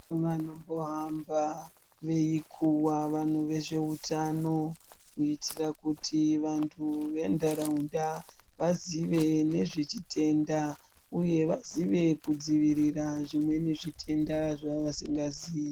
Vanombo hamba veikuva vantu vezvehutano kuitira kuti vantu venharaunda vazive nezvechitenda, uye vazive kudzivirira zvimweni zvitenda zvavasingaziyi.